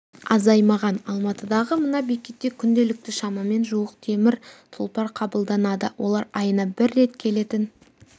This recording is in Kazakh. азаймаған алматыдағы мына бекетте күнделікті шамамен жуық темір тұлпар қабылданады олар айына бір рет келетін